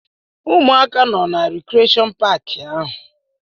Ụmụaka nọ na rikreshọn paaki ahụ.